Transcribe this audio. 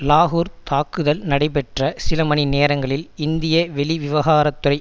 லாகூர் தாக்குதல் நடைபெற்ற சில மணிநேரங்களில் இந்திய வெளிவிவகாரத்துறை